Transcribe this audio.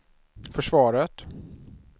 försvaret